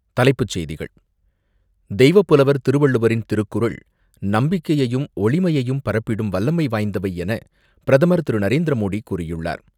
தலைப்புச் செய்திகள் தெய்வப்புலவர் திருவள்ளுவரின் திருக்குறள் நம்பிக்கையையும், ஒளிமையையும் பரப்பிடும் வலலமை வாய்ந்தவை என பிரதமர் திரு நரேந்திரமோடி கூறியுள்ளார்.